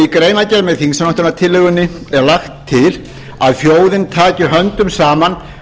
greinargerð með þingsályktunartillögunni er lagt til að þjóðin taki höndum saman